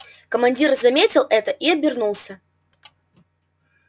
командир заметил это и обернулся